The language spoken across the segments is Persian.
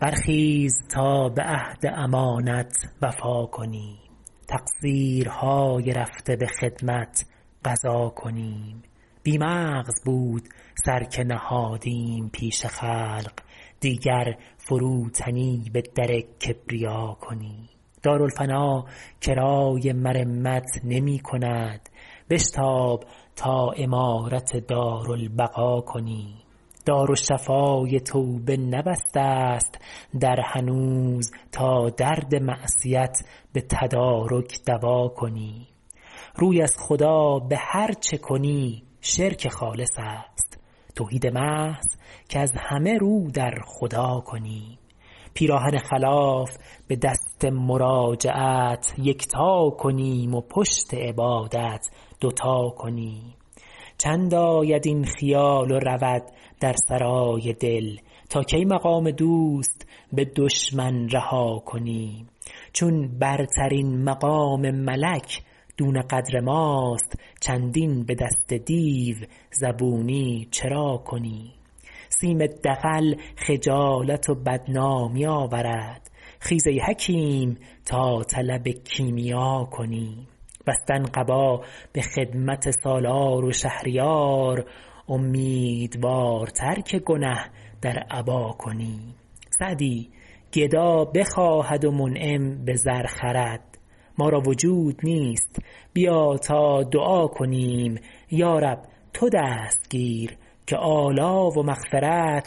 برخیز تا به عهد امانت وفا کنیم تقصیرهای رفته به خدمت قضا کنیم بی مغز بود سر که نهادیم پیش خلق دیگر فروتنی به در کبریا کنیم دارالفنا کرای مرمت نمی کند بشتاب تا عمارت دارالبقا کنیم دارالشفای توبه نبسته ست در هنوز تا درد معصیت به تدارک دوا کنیم روی از خدا به هر چه کنی شرک خالص است توحید محض کز همه رو در خدا کنیم پیراهن خلاف به دست مراجعت یکتا کنیم و پشت عبادت دو تا کنیم چند آید این خیال و رود در سرای دل تا کی مقام دوست به دشمن رها کنیم چون برترین مقام ملک دون قدر ماست چندین به دست دیو زبونی چرا کنیم سیم دغل خجالت و بدنامی آورد خیز ای حکیم تا طلب کیمیا کنیم بستن قبا به خدمت سالار و شهریار امیدوارتر که گنه در عبا کنیم سعدی گدا بخواهد و منعم به زر خرد ما را وجود نیست بیا تا دعا کنیم یارب تو دست گیر که آلا و مغفرت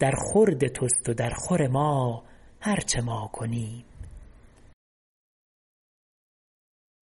در خورد توست و در خور ما هر چه ما کنیم